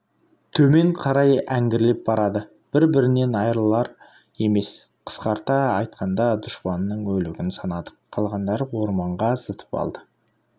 төмен қарай әңгірлеп барады бір-бірінен айырылар емес қысқарта айтқанда дұшпанның өлігін санадық қалғандары орманға зытып алды